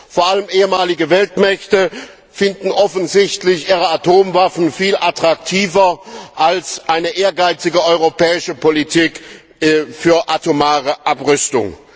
Vor allem ehemalige Weltmächte finden offensichtlich ihre Atomwaffen viel attraktiver als eine ehrgeizige europäische Politik für atomare Abrüstung.